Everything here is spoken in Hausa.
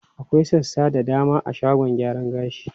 Akwai sassa da dama a shagon gyaran gashi.